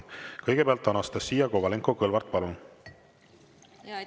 Kõigepealt Anastassia Kovalenko-Kõlvart, palun!